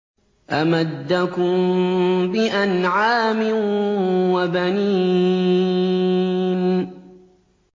أَمَدَّكُم بِأَنْعَامٍ وَبَنِينَ